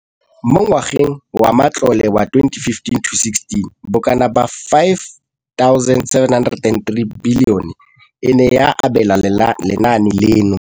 Mo ngwageng wa matlole wa 2015 le 2016, bokanaka R5 703 bilione e ne ya abelwa lenaane leno.